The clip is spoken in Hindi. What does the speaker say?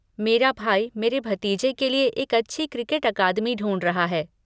मेरा भाई मेरे भतीजे के लिए एक अच्छी क्रिकेट अकादमी ढूँढ रहा है।